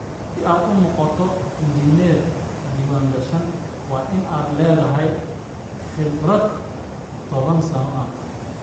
Si aad u noqoto injineer diiwaangashan, waa inaad leedahay khibrad toban sano ah.